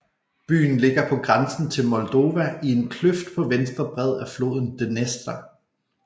Byen ligger på grænsen til Moldova i en kløft på venstre bred af floden Dnestr